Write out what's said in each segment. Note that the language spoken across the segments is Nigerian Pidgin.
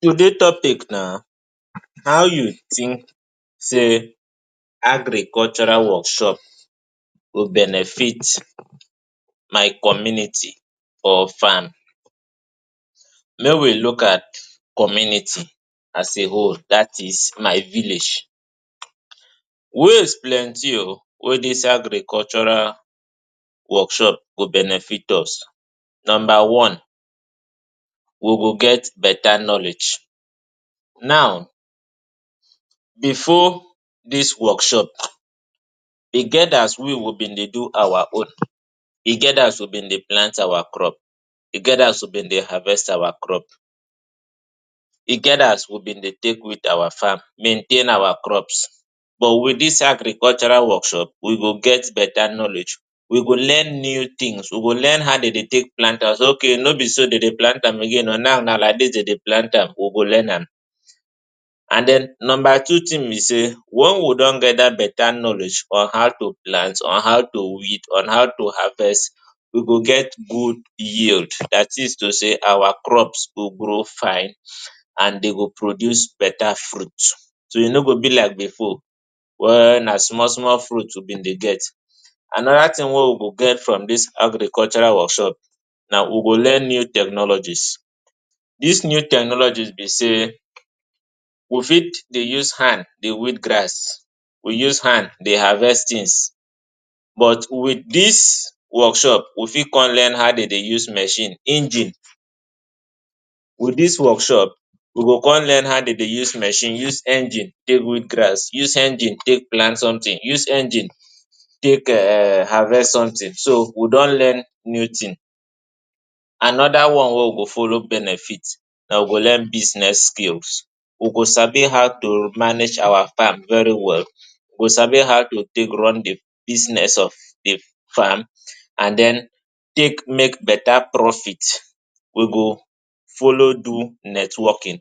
Today topic na how you tink say agricultural workshop go benefit my community or farm, mey we look at community as a whole dat na my village ways plenty o wey dey inside dis agricultural workshop go benefit us numba one we go get betta knowledge now bifor dis workshop e get as we we bin dey do our own e get as we bin dey plant our crop e get as we bin dey harvest our crop e get as we bin dey take weed our fam maintain our crops but wit dis agricultural workshop we go get betta knowledge we go learn new tins we go learn how dem dey take plant okay no be so dem dey plant am again now na like dis dem dey plant am we go learn am and den numba two tin be say once we don get dat betta knowledge on how to plant on how to weed how to harvest we go get good yield at least say our crops go grow fine and dem go produce betta fruit so e no go be like bifor na small small fruit we bin dey get anoda tin wey we go get from dis agricultural workshop na we go learn new technologies dis new technologies be say we fit dey use hand dey weed grass we use hand dey harvest tins but wit dis workshop we fit come learn how dem dey use machine engine wit dis workshop we go come learn how to dey use machine use engine take weed grass use engine take plant somtin use engine take harvest somtin so we don learn new tin anoda one wey we go follow benefit na we go learn business skills we go sabi how to manage our fam very well go sabi how to take run di business of di fam and den take make betta profit we go follow do networkin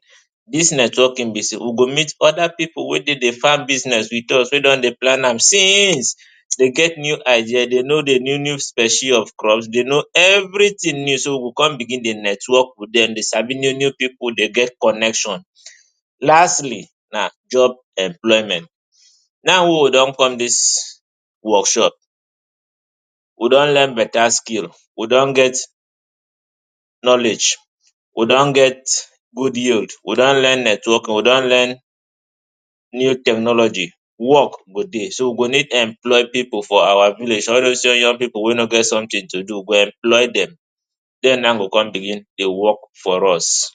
dis networkin be say we go meet oda pipu wey dey di fam business wit us wey don dey plant am since dem get new idea dem sabi di new species of crops dem sabi evritin new so we go come begin dey network wit dem so dem dey sabi new new pipu dem get connection Lastly na job employment now wey we don come dis workshop we don learn betta skills we don get knowledge we don get good yield we don learn network we don learn new technology wok go dey so we go need employ pipu for our village all dose young pipu wey no get somtin to do we go employ dem dem now go come begin dey wok for us.